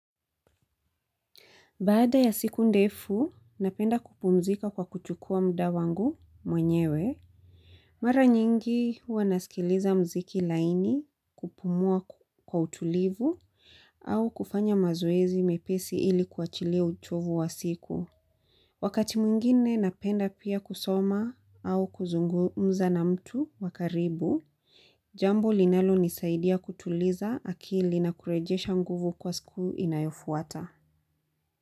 Baada ya siku ndefu, napenda kupumzika kwa kuchukua muda wangu mwenyewe. Mara nyingi huwa nasikiliza muziki laini kupumua kwa utulivu au kufanya mazoezi mepesi ili kuachilia uchovu wa siku. Wakati mwingine napenda pia kusoma au kuzungumza na mtu wa karibu, jambo linalonisaidia kutuliza akili na kurejesha nguvu kwa siku inayofuata.